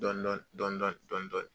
Dɔɔnin dɔɔnin dɔɔnin